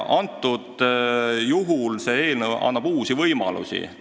Aga see eelnõu annab uusi võimalusi.